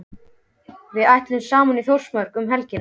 Við ætlum saman í Þórsmörk um helgina.